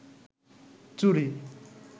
চুড়ি